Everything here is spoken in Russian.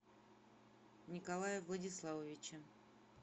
николае владиславовиче